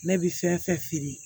Ne bɛ fɛn fɛn feere